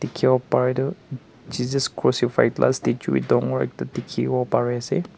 dekhevo pare tuh jesus crucified la statue ek dangor ekta dekhevo pare ase.